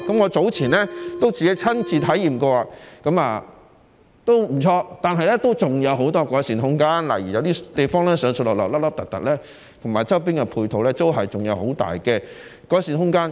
我早前亦曾親自體驗，路線不錯，但還有很多改善空間，例如有些地方上落不平，以及周邊配套有很大的改善空間。